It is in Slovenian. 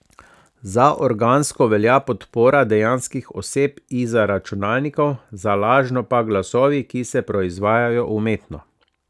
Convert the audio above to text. Za organsko velja podpora dejanskih oseb izza računalnikov, za lažno pa glasovi, ki se proizvajajo umetno.